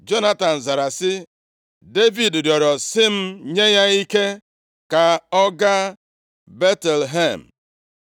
Jonatan zara sị, “Devid rịọrọ sị m nye ya ike ka ọ gaa Betlehem.